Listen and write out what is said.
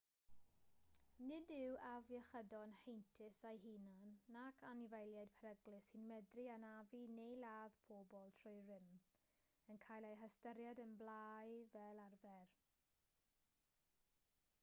nid yw afiechydon heintus eu hunain nac anifeiliaid peryglus sy'n medru anafu neu ladd pobl trwy rym yn cael eu hystyried yn blâu fel arfer